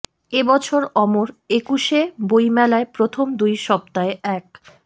এ বছর অমর একুশে বইমেলায় প্রথম দুই সপ্তায় এক